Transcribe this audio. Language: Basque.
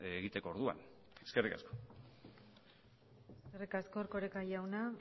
egiteko orduan eskerrik asko eskerrik asko erkoreka jauna